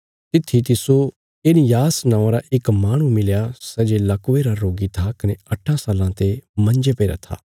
तित्थी तिस्सो एनियास नौआं रा इक माहणु मिलया सै जे लकवे रा रोगी था कने अट्ठां साल्लां ते मंजे पईरा था